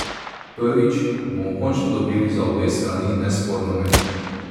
Prvič, bomo končno dobili za obe strani nesporno mejo?